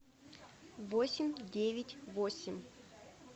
восемь девять восемь